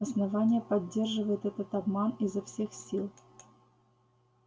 основание поддерживает этот обман изо всех сил